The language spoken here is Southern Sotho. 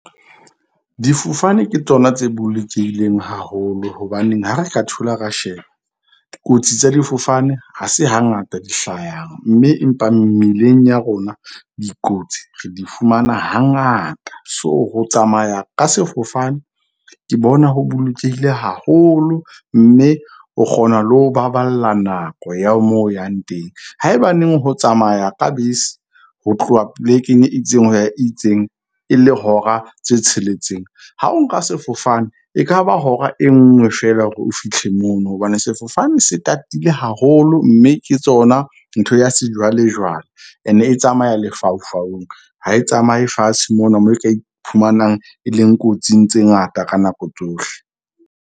Difofane ke tsona tse bolokehileng haholo. Hobaneng ha re ka thola ra sheba dikotsi tsa difofane ha se hangata di hlayang, mme empa mmileng ya rona dikotsi re di fumana hangata. So, ho tsamaya ka sefofane ke bona ho bolokehile haholo. Mme o kgona le ho baballa nako ya mo o yang teng. Haebaneng ho tsamaya ka bese ho tloha polekeng e itseng ho ya itseng e le hora tse tsheletseng. Ha o nka sefofane, ekaba hora e nngwe feela hore o fitlhe mono. Hobane sefofane se tatile haholo, mme ke tsona ntho ya sejwalejwale. E ne e tsamaya ha e tsamaye fatshe mona, moo e ka iphumanang e leng kotsing tse ngata ka nako tsohle.